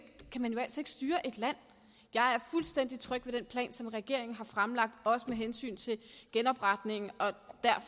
styre et land jeg er fuldstændig tryg ved den plan som regeringen har fremlagt også med hensyn til genopretningen